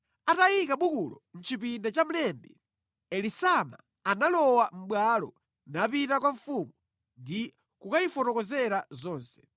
Atayika bukulo mʼchipinda cha mlembi Elisama, analowa mʼbwalo, napita kwa mfumu ndi kukayifotokozera zonse.